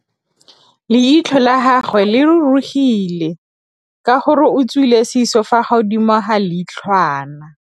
Leitlhô la gagwe le rurugile ka gore o tswile sisô fa godimo ga leitlhwana.